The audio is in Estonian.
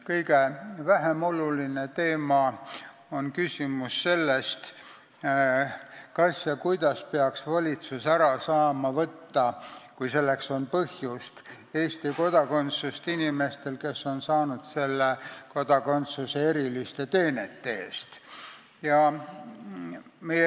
Kõige vähem oluline teema on küsimus sellest, kas ja kuidas peaks valitsus saama ära võtta, kui selleks on põhjust, Eesti kodakondsust inimestelt, kes on saanud selle kodakondsuse eriliste teenete eest.